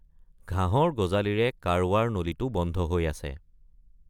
ঘাঁহৰ গজালিৰে কাৰৱাৰ নলীটো বন্ধ হৈ আছে।